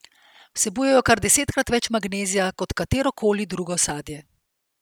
Vsebujejo kar desetkrat več magnezija kot katero koli drugo sadje.